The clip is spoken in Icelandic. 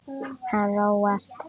Hann róast.